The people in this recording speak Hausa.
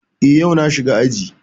Eh, yau na shiga aji